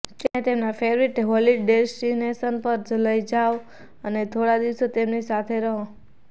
તેમને તેમના favourite holiday destination પર લઇ જાવ અને થોડા દિવસો તેમની સાથે રહો